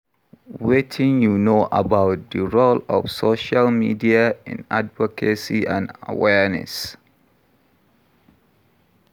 Wetin you know about di role of social media in advocacy and awareness?